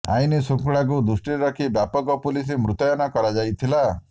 ଆଇନ ଶୃଙ୍ଖଳାକୁ ଦୃଷ୍ଟିରେ ରଖି ବ୍ୟାପକ ପୁଲିସ୍ ମୁତୟନ କରାଯାଇଥିଲା